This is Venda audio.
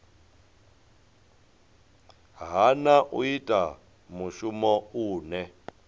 hana u ita mushumo une